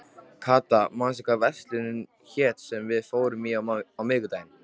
Kata, manstu hvað verslunin hét sem við fórum í á miðvikudaginn?